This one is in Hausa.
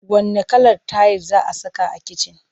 Wanne kalar tayil za saka a kicin?